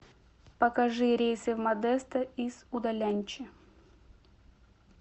покажи рейсы в модесто из удаляньчи